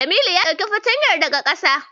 Jamilu ya ɗauki fata yar daga ƙasa.